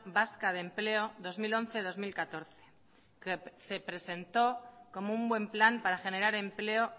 vasca de empleo dos mil once dos mil catorce se presentó como un buen plan para generar empleo